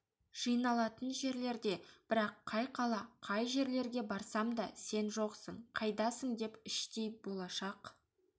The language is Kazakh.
жиналатын жерлерде бірақ қай қала қай жерлерге барсам да сен жоқсың қайдасың деп іштей болашақ